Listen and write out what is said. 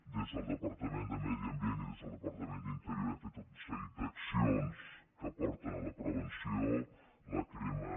des del departament de medi ambient i des del departament d’interior hem fet tot un seguit d’accions que porten a la prevenció la crema